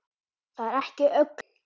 Það er ekki öllum lagið.